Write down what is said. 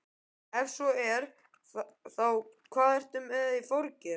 Ef svo er, hvað ertu með í forgjöf?